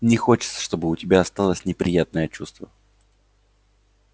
не хочется чтобы у тебя осталось неприятное чувство